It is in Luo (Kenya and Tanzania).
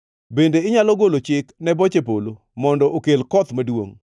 “Bende inyalo golo chik ne boche polo mondo okel koth maduongʼ?